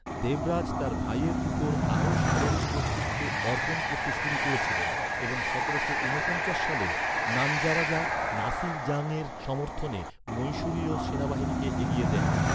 দেবরাজ তার ভাইয়ের উপর আরও সামরিক কর্তৃত্ব অর্পণ করতে শুরু করেছিলেন এবং সতেরোশো ঊনপঞ্চাশ সালে নানজারাজা, নাসির জংয়ের সমর্থনে মহীশূরীয় সেনাবাহিনীকে এগিয়ে দেন।